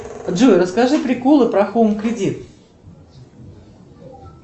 джой расскажи приколы про хоум кредит